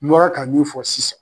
N mɔra ka mun fɔ sisan